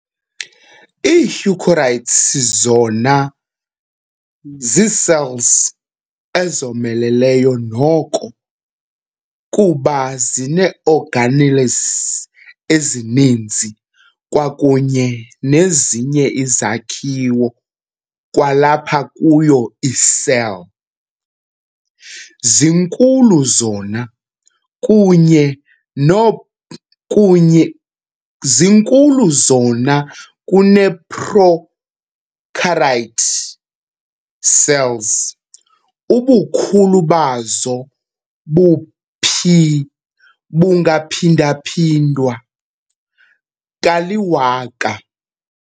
Ii-Eukaryotes zona zii-cells ezomeleleyo noko kuba zinee-organelles ezininzi kwakunye nezinye izakhiwo kwalapha kuyo i-cell. zinkulu zona kunye kunye, zinkulu zonakunee-prokaryote cells- Ubukhulu bazo bungaphinda-phindwa kali-1000.